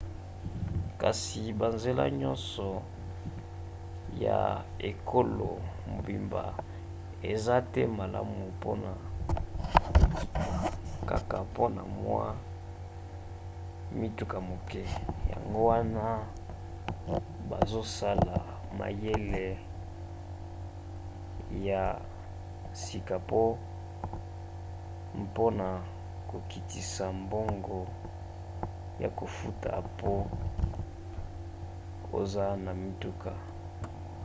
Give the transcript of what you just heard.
kasi banzela nyonso ya ekolo mobimba eza te malamu mpona nkita kaka mpona mwa mituka moke yango wana bazosala mayele ya sika mpona kokitisa mbongo ya kofuta mpo oza na motuka